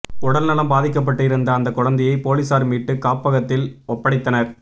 உடல் நலம் பாதிக்கப்பட்டு இருந்த அந்த குழந்தையை போலீசார் மீட்டு காப்பகத்தில் ஒப்படைத்தனர்